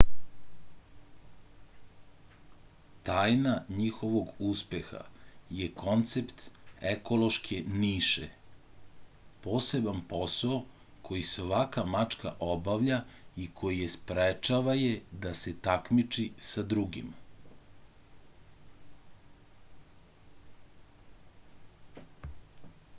tajna njihovog uspeha je koncept ekološke niše poseban posao koji svaka mačka obavlja i koji je sprečava je da se takmiči sa drugima